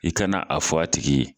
I kana a fɔ a tigi ye